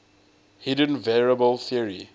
hidden variable theory